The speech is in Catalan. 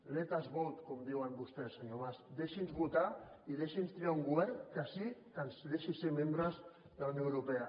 let us votesenyor mas deixi’ns votar i deixi’ns triar un govern que sí que ens deixi ser membres de la unió europea